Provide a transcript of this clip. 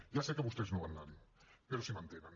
ja sé que vostès no van anar hi però sí que m’entenen